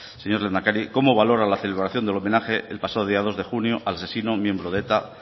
señor lehendakari cómo valora la celebración del homenaje el pasado día dos de junio al asesino miembro de eta